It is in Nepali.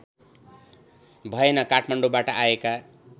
भएन काठमाडौँबाट आएका